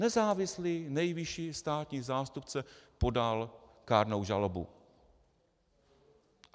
Nezávislý nejvyšší státní zástupce podal kárnou žalobu.